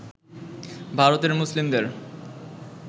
ভারতের মুসলিমদের